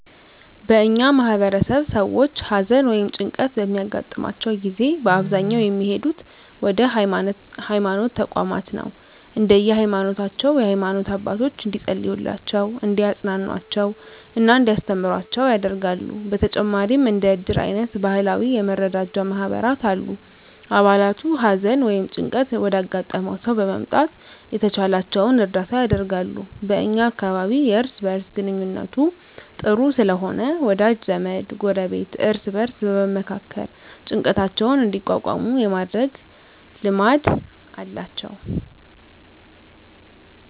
በእኛ ማህበረሰብ ሰዎች ሀዘን ወ ይም ጭንቀት በሚያገጥማቸው ጊዜ በአብዛኛው የሚሄዱት ወደ ሀይማኖት ተቋማት ነው። እንደየ ሀይማኖታቸው የሃይማኖት አባቶች እንዲፀልዩላቸው፣ እንዲያፅናኑአቸው እና እንዲያስተምሩአቸው ያደርጋሉ። በተጨማሪም እንደ እድር አይነት ባህላዊ የመረዳጃ ማህበራት አሉ። አባላቱ ሀዘን ወይም ጭንቀት ወዳጋጠመው ሰው በመምጣት የተቻላቸውን እርዳታ ያደርጋሉ። በ እኛ አካባቢ የእርስ በእርስ ግንኙነቱ ጥሩ ስለሆነ ወዳጅ ዘመድ፣ ጎረቤት እርስ በእርስ በመመካከር ጭንቀታቸውን እንዲቋቋሙ የማድረግ ልማድ አላቸው።